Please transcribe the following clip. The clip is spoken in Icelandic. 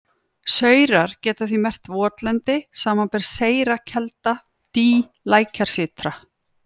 Saurar geta því merkt votlendi, samanber seyra kelda, dý, lækjarsytra.